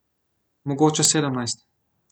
Mogoče sedemnajst.